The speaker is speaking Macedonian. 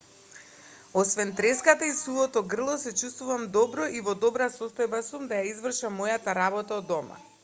освен треската и сувото грло се чувствувам добро и во добра состојба сум да ја извршам мојата работа од дома